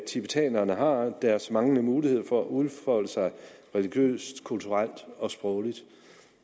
tibetanerne har og deres manglende mulighed for at udfolde sig religiøst kulturelt og sprogligt